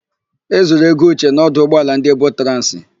E zuru ego Uche n'ọdụ ụgbọala ndị Ebotransị.